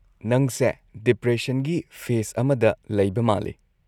ꯅꯪꯁꯦ ꯗꯤꯄ꯭ꯔꯦꯁꯟꯒꯤ ꯐꯦꯁ ꯑꯃꯗ ꯂꯩꯕ ꯃꯥꯜꯂꯤ꯫